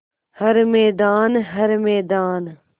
हर मैदान हर मैदान